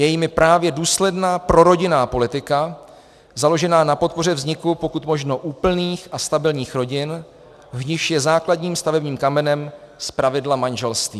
Je jimi právě důsledná prorodinná politika založená na podpoře vzniku pokud možno úplných a stabilních rodin, v nichž je základním stavebním kamenem zpravidla manželství.